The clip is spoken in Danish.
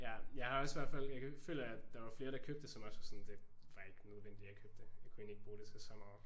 Ja jeg har også i hvert fald jeg føler at der var flere som købte det som også var sådan det var egentlig ikke nødvendigt at købe det. Jeg kunne egentlig ikke bruge det til så meget